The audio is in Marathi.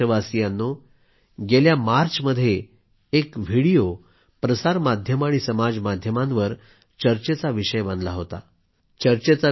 माझ्या प्रिय देशवासियांनो गेल्या मार्चमध्ये एक व्हिडिओ प्रसार माध्यमे आणि समाज माध्यमांवर चर्चेचा विषय बनला होता